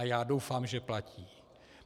A já doufám, že platí.